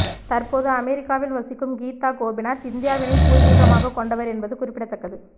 தற்போது அமெரிக்காவில் வசிக்கும் கீதா கோபிநாத் இந்தியாவினை பூர்வீகமாக கொண்டவர் என்பது குறிப்பிடத்தக்கது